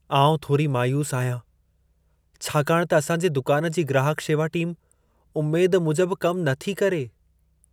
आउं थोरी मायूसु आहियां, छाकाणि त असां जे दुकान जी ग्राहक शेवा टीम उमेद मूजब कम नथी करे।